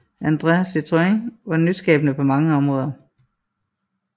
André Citroën var nyskabende på mange områder